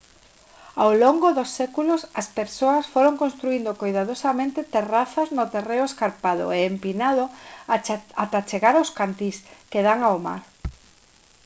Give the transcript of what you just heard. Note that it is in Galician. ao longo dos séculos as persoas foron construíndo coidadosamente terrazas no terreo escarpado e empinado ata chegar aos cantís que dan ao mar